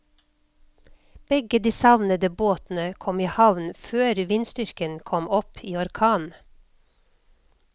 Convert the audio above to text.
Begge de savnede båtene kom i havn før vindstyrken kom opp i orkan.